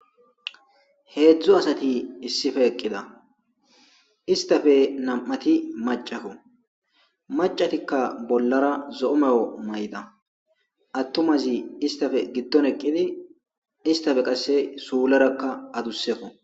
Heedzu asati issippe eqqida.iatappe nam'ati maccako. Maccatika bollara zo'o mayo mayida. Atumazi istappe giddon eqqidi, istappe qasse suuleraka aduseko.